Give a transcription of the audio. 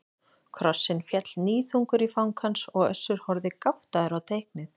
Krossinn féll níðþungur í fang hans og Össur horfði gáttaður á teiknið.